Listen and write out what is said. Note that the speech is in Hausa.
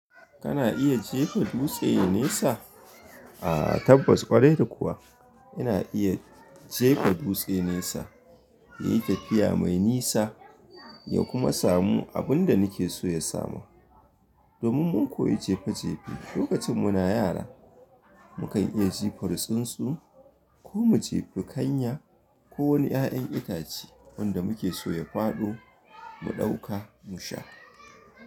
Kana iya jefa dutse nesa? Ah, tabbas ƙwarai kuwa ina iya jefa dutse nesa, yayi tafiya mai nisa ya kuma samu abun da nake so ya samu. Domin mun koyi jefe jefe lokacin muna yara. Mukan iya jefar tsuntsu ko mu jefi kanya ko wani ƴaƴan itace wanda muke so ya faɗo mu ɗauka mu sha.